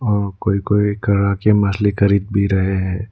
और कोई कोई खड़ा के मछली खरीद भी रहे हैं।